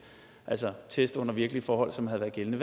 altså test under virkelige forhold som havde været gældende